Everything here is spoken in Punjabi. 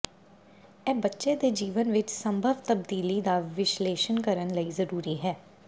ਇਹ ਬੱਚੇ ਦੇ ਜੀਵਨ ਵਿੱਚ ਸੰਭਵ ਤਬਦੀਲੀ ਦਾ ਵਿਸ਼ਲੇਸ਼ਣ ਕਰਨ ਲਈ ਜ਼ਰੂਰੀ ਹੈ